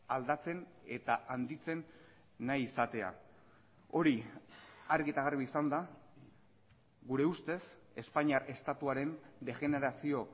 aldatzen eta handitzen nahi izatea hori argi eta garbi izanda gure ustez espainiar estatuaren degenerazio